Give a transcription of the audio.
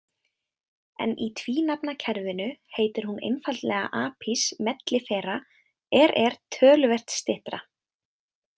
En í tvínafnakerfinu heitir hún einfaldlega Apis mellifera er er töluvert styttra!